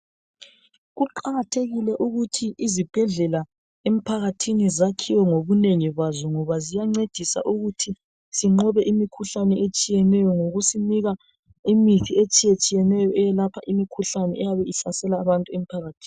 Kuqakathekile kakhulu ukuthi izibhedlela emphakathini zakhiwe ngobunengi bazo ngoba ziyancedisa ukuthi sinqobe imikhuhlane etshiyeneyo ngokusinika imithi etshiyetshiyeneyo eyelapha imikhuhlane eyabe ihlasela abantu emphakathini.